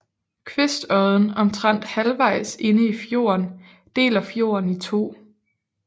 Kvistodden omtrent halvvejs inde i fjorden deler fjorden i to